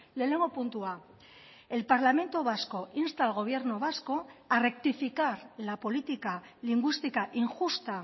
lehenengo puntua el parlamento vasco insta al gobierno vasco a rectificar la política lingüística injusta